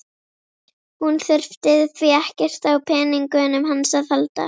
Hún þurfi því ekkert á peningunum hans að halda.